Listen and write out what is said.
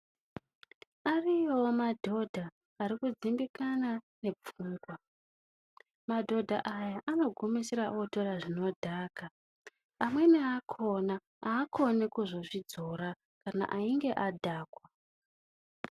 Ariyowo madhodha ari kudzimbikana nepfungwa madhodha aya anogumisira otora zvinodhaka amweni akhona aakoni kuzozvidzira kana einge adhakwa.